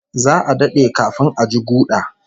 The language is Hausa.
Za'a dade kafin a ji guda